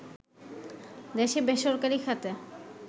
দেশে বেসরকারি খাতে